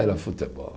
Era futebol.